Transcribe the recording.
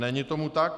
Není tomu tak.